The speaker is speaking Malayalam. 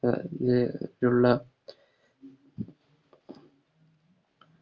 അഹ് എ യുള്ള